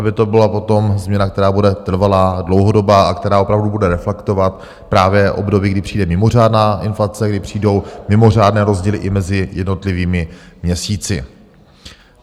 Aby to byla potom změna, která bude trvalá, dlouhodobá a která opravdu bude reflektovat právě období, kdy přijde mimořádná inflace, kdy přijdou mimořádné rozdíly i mezi jednotlivými měsíci.